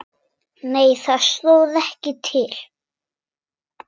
Nei það stóð ekki til.